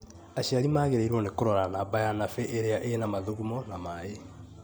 aciari magĩrĩirũo nĩ kũrora namba ya nabĩ iria ina mathugumo na mai